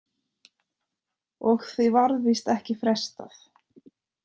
Og því varð víst ekki frestað.